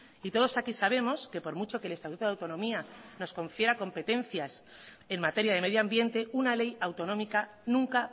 y todos aquí sabemos que por mucho que el estatuto de autonomía nos confiera competencias en materia de medio ambiente una ley autonómica nunca